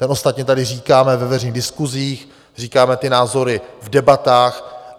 Ten ostatně tady říkáme ve veřejných diskusích, říkáme ty názory v debatách.